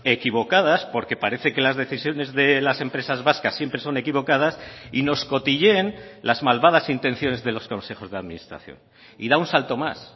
equivocadas porque parece que las decisiones de las empresas vascas siempre son equivocadas y nos cotilleen las malvadas intenciones de los consejos de administración y da un salto más